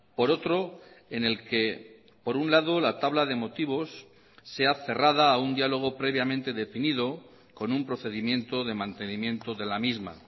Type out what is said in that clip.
por otro en el que por un lado la tabla de motivos sea cerrada a un diálogo previamente definido con un procedimiento de mantenimiento de la misma